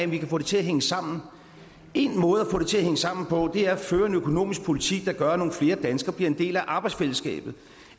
vi kan få det til at hænge sammen en måde at få det til at hænge sammen på er at føre en økonomisk politik der gør at nogle flere danskere bliver en del af arbejdsfællesskabet